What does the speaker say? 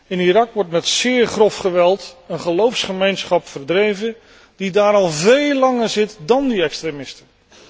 In Irak wordt met zeer grof geweld een geloofsgemeenschap verdreven die daar al veel langer zit dan die extremisten.